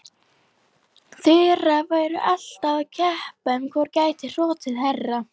Þura væru alltaf að keppa um hvor gæti hrotið hærra.